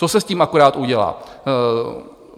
Co se s tím akorát udělá?